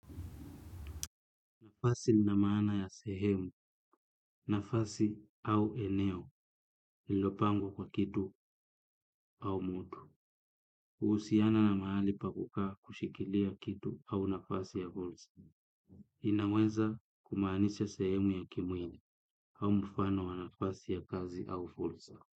Nafasi ina maana ya sehemu, nafasi au eneo ilopangwa kwa kitu au mtu. Uhusiana na mahali pa kukaa kushikilia kitu au nafasi ya fursa. Inaweza kumaanisha sehemu ya kimwili au mfano wa nafasi ya kazi au fursa.